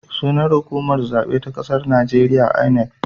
Sunan hukumar zaɓe ta ƙasar najeriya 'I.N.E.C'